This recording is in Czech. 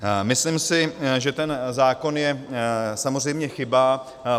Myslím si, že ten zákon je samozřejmě chyba.